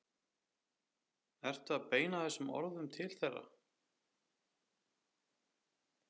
Ertu að beina þessum orðum til þeirra?